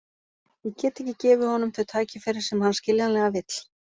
Ég get ekki gefið honum þau tækifæri sem hann skiljanlega vill.